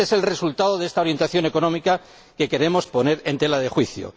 Este es el resultado de esta orientación económica que queremos poner en tela de juicio.